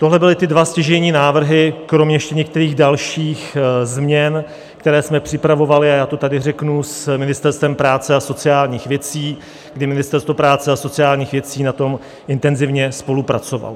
Tohle byly ty dva stěžejní návrhy kromě ještě některých dalších změn, které jsme připravovali, a já to tady řeknu, s Ministerstvem práce a sociálních věcí, kdy Ministerstvo práce a sociálních věcí na tom intenzivně spolupracovalo.